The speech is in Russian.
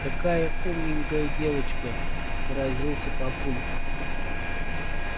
какая умненькая девочка поразился папулька